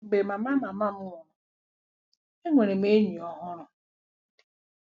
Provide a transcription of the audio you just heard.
“Mgbe mama mama m nwụrụ, enwere m enyi ọhụrụ.